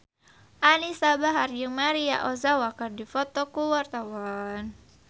Anisa Bahar jeung Maria Ozawa keur dipoto ku wartawan